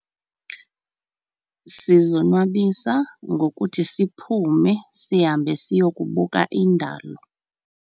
Sizonwabisa ngokuthi siphume sihambe siyokubuka indalo.